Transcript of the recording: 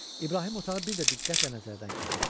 İbrahim otağı bir də diqqətlə nəzərdən keçirtdi.